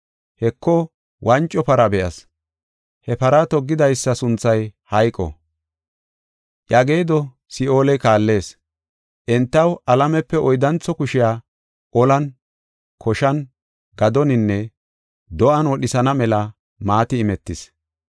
Heko wanco para be7as. He para toggidaysa sunthay hayqo; iya geedo Si7ooley kaallees. Entaw alamepe oyddantho kushiya olan, koshan, gadoninne do7an wodhisana mela maati imetis.